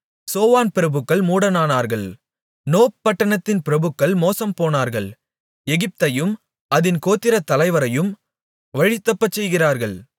சோவான் பிரபுக்கள் மூடரானார்கள் நோப்பு பட்டணத்தின் பிரபுக்கள் மோசம்போனார்கள் எகிப்தையும் அதின் கோத்திரத்தலைவரையும் வழிதப்பச்செய்கிறார்கள்